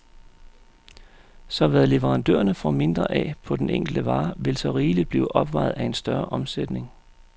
Så hvad leverandørerne får mindre af på den enkelte vare, vil så rigeligt blive opvejet af en større omsætning.